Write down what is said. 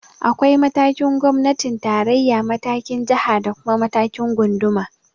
Akwai matakin gwamnatin tarayya, matakin jiha da kuma matakin gunduma.